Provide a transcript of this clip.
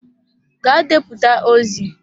Gaa deputa ozi!